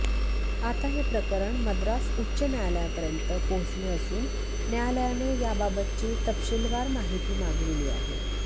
आता हे प्रकरण मद्रास उच्च न्यायालयापर्यंत पोहोचले असून न्यायालयाने याबाबतची तपशीलवार माहिती मागविली आहे